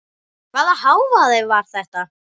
Hvaða hávaði var þetta?